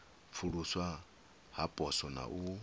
pfuluswa ha poswo na u